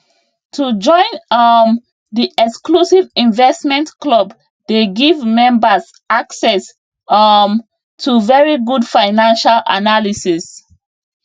to join um di exclusive investment club dey give membas access um to very good financial analysis